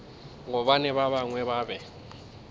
gobane ba bangwe ba be